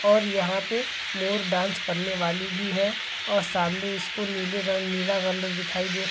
--और यहाँ पे मोर डांस करने वाली भी है और सामने इसको नीले रंग नीला कलर दिखाई दे--